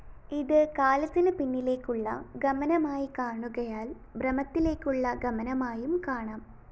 ഇത് കാലത്തിനു പിന്നിലേക്കുള്ള ഗമനമായി കാണുകയാല്‍ ബ്രഹ്മത്തിലേക്കുള്ള ഗമനമായും കാണാം